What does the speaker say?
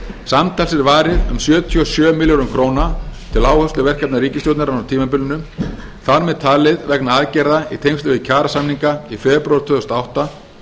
samtals er varið um sjötíu og sjö milljörðum króna til áhersluverkefna ríkisstjórnarinnar á tímabilinu þar með talin vegna aðgerða í tengslum við kjarasamninga í febrúar tvö þúsund og átta